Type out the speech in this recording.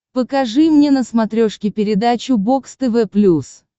покажи мне на смотрешке передачу бокс тв плюс